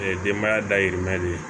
denbaya dayirimɛ de ye